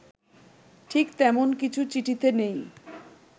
ঠিক তেমন কিছু চিঠিতে নেই